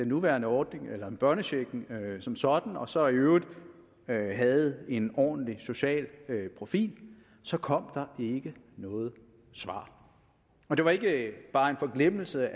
nuværende ordning eller end børnechecken som sådan og så i øvrigt havde havde en ordentlig social profil så kom der ikke noget svar og det var ikke bare en forglemmelse